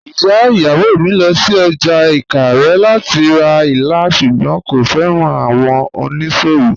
Ìyà ìyáwó mí lọ sí ọ́jà Ìkàrè lati rá ìlà, ṣùgbọ́n kò fẹ́ran awọn onísòwò.